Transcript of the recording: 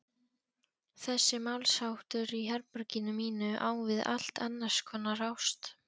Þessi málsháttur í herberginu mínu á við allt annarskonar ást.